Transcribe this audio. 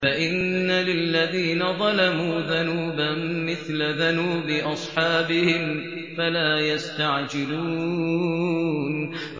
فَإِنَّ لِلَّذِينَ ظَلَمُوا ذَنُوبًا مِّثْلَ ذَنُوبِ أَصْحَابِهِمْ فَلَا يَسْتَعْجِلُونِ